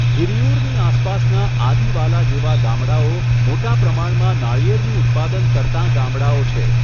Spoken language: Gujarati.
હિરિયૂરની આસપાસના આદિવાલા જેવા ગામડાંઓ મોટા પ્રમાણમાં નાળિયેરનું ઉત્પાદન કરતાં ગામડાંઓ છે.